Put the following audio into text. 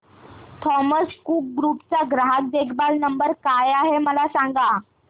Thomas Cook group चा ग्राहक देखभाल नंबर काय आहे मला सांगा